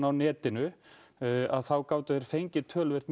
á netinu þá gátu þeir fengið töluvert